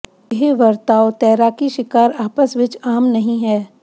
ਇਹ ਵਰਤਾਓ ਤੈਰਾਕੀ ਸ਼ਿਕਾਰ ਆਪਸ ਵਿੱਚ ਆਮ ਨਹੀ ਹੈ